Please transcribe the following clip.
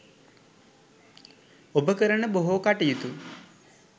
ඔබ කරන බොහෝ කටයුතු